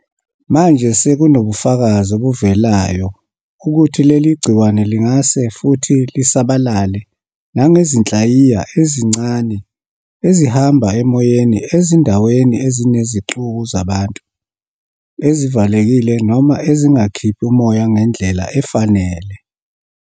Manje sekunobufakazi obuvelayo bokuthi leli gciwane lingase futhi lisabalale nangezinhlayiya ezincane ezihamba emoyeni ezindaweni ezinezixuku zabantu, ezivalekile noma ezingakhiphi umoya ngendlela efanele.